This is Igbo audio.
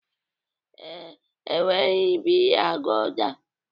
Ee, enweghị biya gulda